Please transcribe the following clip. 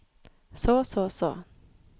så så så